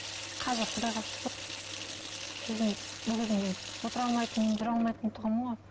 қазір құдайға шүкір өзім ол кезімде отыра алмайтынмын жүре алмайтын тұғынмын ғой